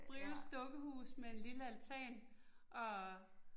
Brios dukkehus med en lille altan og